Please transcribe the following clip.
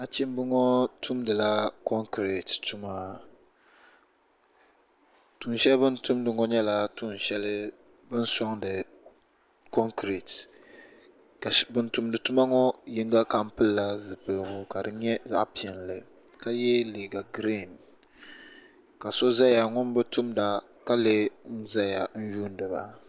Nachimba ŋɔ tumdila konkireti tuma tuunsheli bini tumdi ŋɔ nyɛla tuun'sheli bini soŋdi konkireti ka ban tumdi tuma ŋɔ Yiŋa kam pilila zipiligu ka di nyɛ zaɣa piɛlli ka ye liiga girin ka so zaya ŋun bi tumda ka lee n zaya n yuuni ba.